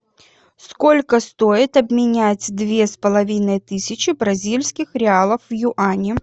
сколько стоит обменять две с половиной тысячи бразильских реалов в юани